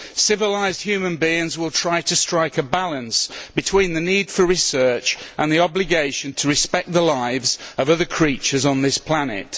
Civilised human beings will try to strike a balance between the need for research and the obligation to respect the lives of other creatures on this planet.